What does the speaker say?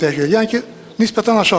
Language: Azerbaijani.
Yəni ki, nisbətən aşağıdır.